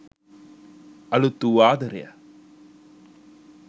අලුත් වූ ආදරය